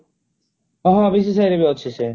ହଁ ହଁ ରେ ଅଛି ସିଏ